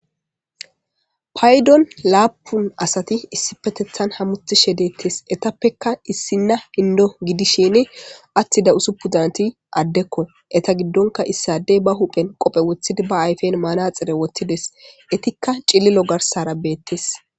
Paydo laapun asati issipetetan hamutishe deetes etapeka issina Endo gidishin atida usupun naati adeko eeta gidonka issa ade ba huphen qophe wothidi ba aypen manaxire wothides etika cililo garsara beetes.